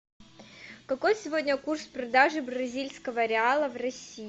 какой сегодня курс продажи бразильского реала в россии